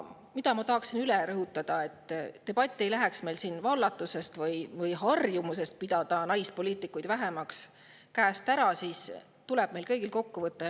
Ja ma tahan rõhutada, et selleks et debatt ei läheks meil siin vallatusest või harjumusest pidada naispoliitikuid vähemaks käest ära, tuleb meil kõigil kokku võtta.